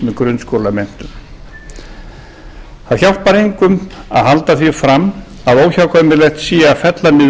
með grunnskólamenntun það hjálpar engum að halda því fram að óhjákvæmilegt sé að fella niður